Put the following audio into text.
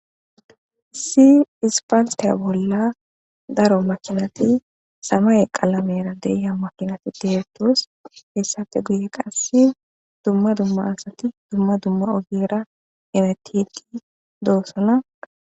Issi aspaltiya bolla daro makinat samaye Qalamera de'iya makinat detes, hesappe guye qase dumma dumma asat dumma dumma ogera hemetid dosona